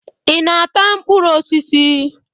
Ị na-ata mkpụrụ osisi?